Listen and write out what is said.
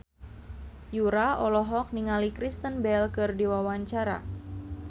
Yura olohok ningali Kristen Bell keur diwawancara